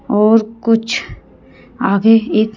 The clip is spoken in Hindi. और कुछ आगे एक--